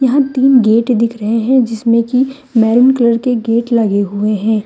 यहां तीन गेट दिख रहे हैं जिसमें की मैरून कलर के गेट लगे हुए हैं।